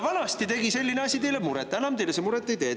Vanasti tegi selline asi teile muret, enam see teile muret ei tee.